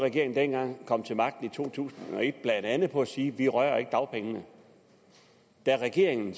regeringen kom til magten i to tusind og et blandt andet på at sige vi rører ikke dagpengene da regeringen